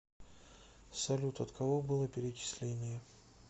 салют от кого было перечисление